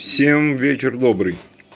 всем вечер добрый